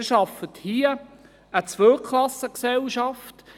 Sie schaffen hier eine Zweiklassengesellschaft.